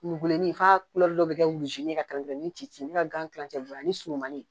Kurubinɛni ka dɔ bɛ kɛ ka ni cin cin ne ka gan kilan cɛ bɛ b'a ye ani surumanni